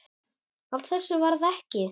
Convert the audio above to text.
Af þessu varð ekki.